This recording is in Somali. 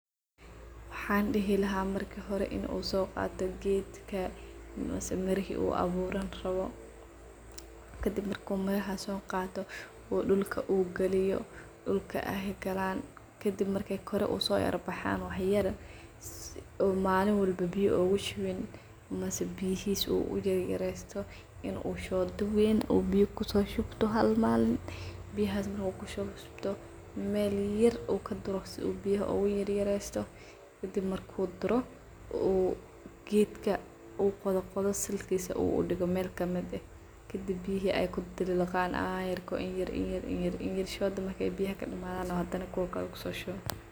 Waxan dihi laha marki hore in u sogaato geedka mise marihii uu aburaan rawo kadib marka mirahas sogato uu dulka uu galiyo dulka ay galaan kadib marka kore ay ufarabaxan wax yaar sidhi oo malin walba biyo an kushuwiin maasa biyihiis uu uyar yaresto in u shooda weyn uu biyo kusoshubto halamaanin biyahas na kushubto meel yaar oo kadursto oo biyaha oo uyar yaresto kadib maarku kudoro oo geedka oo qodqodho salkiisa u udigo meel kamid eehkadib biyihii ka diliqliqaan ayarko in yar in yar shooda marki biyaha kadamathano hadana biyaha kusoshuwo.